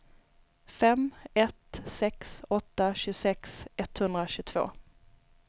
fem ett sex åtta tjugosex etthundratjugotvå